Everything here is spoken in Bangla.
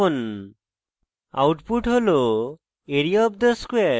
enter টিপুন output হল